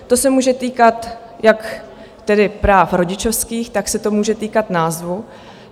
To se může týkat jak tedy práv rodičovských, tak se to může týkat názvu.